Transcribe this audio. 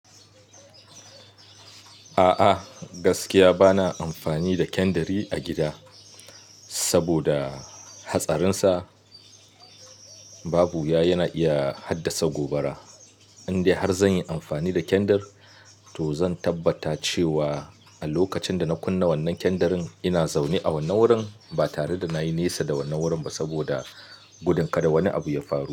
A'a gaskiya bana amfani da kandari a gida saboda hatsarin sa babu ya yana iya haddasa gobara. Indai har zan yi amfani da kendir to zan tabbata cewa a lokacin da na kunna wannan kendarin ina zaune a wannan wurin ba tare da na yi nesa da wannan wurin ba saboda gudun kada wani abu ya faru.